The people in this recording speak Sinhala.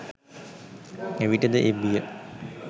එවිට ද ඒ බිය